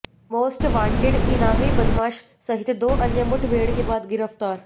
most wanted इनामी बदमाश सहित दो अन्य मुठभेड़ के बाद गिरफ्तार